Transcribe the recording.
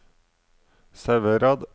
Sauherad